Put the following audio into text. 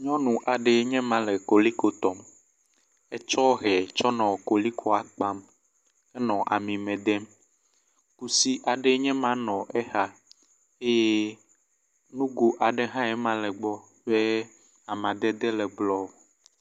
Nyɔnu aɖe ye ma le koliko tɔm. Etsɔ hɛ kɔ nɔ kolikoa kpam henɔ ami me dem. Kusi aɖe nye ma nɔ exa eye nugo aɖe hã ma le egbɔ ye amadede le blɔ.